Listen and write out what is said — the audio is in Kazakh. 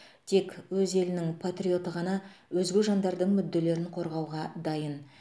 тек өз елінің патриоты ғана өзге жандардың мүдделерін қорғауға дайын